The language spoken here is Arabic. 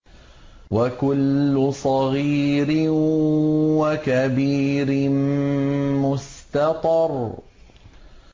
وَكُلُّ صَغِيرٍ وَكَبِيرٍ مُّسْتَطَرٌ